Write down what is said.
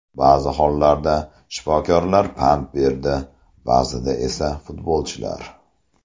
Ba’zi hollarda shifokorlar pand berdi, ba’zida esa futbolchilar.